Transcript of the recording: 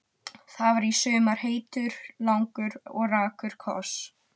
Það var í sumar heitur, langur og rakur koss.